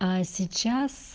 а сейчас